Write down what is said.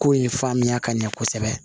Ko in faamuya ka ɲɛ kosɛbɛ